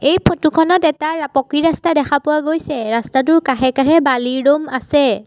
এই ফটো খনত এটা পকী ৰাস্তা দেখা পোৱা গৈছে ৰাস্তাটোৰ কাষে কাষে বালিৰ দ'ম আছে।